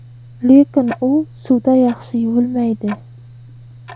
Lekin u suvda yaxshi yuvilmaydi.